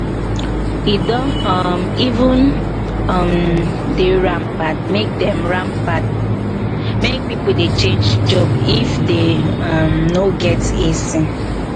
he don um even um dey rampant make dey rampant make people dey change job if they um no get ac